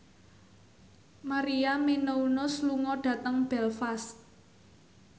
Maria Menounos lunga dhateng Belfast